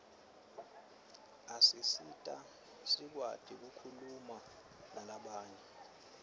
asisita sikwati kukhuluma nalabanye